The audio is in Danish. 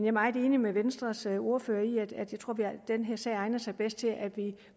er meget enig med venstres ordfører i at den her sag egner sig bedst til at vi